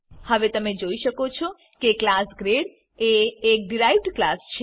હવે તમે જોઈ શકો છો કે ક્લાસ ગ્રેડ એ એક ડીરાઈવ્ડ ક્લાસ છે